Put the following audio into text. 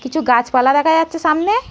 কিছু গাছপালা দেখা যাচ্ছে সামনে।